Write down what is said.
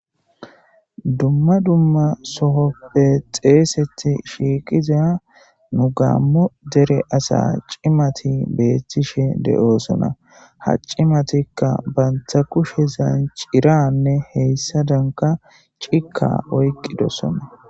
Duma duma soohope xessetidi shiqidda nu gamo dere assa cimati betishess deyosona ha cimati banita kushezani cirra nne hayisadani cika oyikidosona.